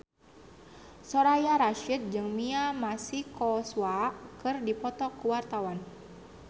Soraya Rasyid jeung Mia Masikowska keur dipoto ku wartawan